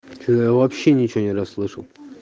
что я вообще ничего не расслышал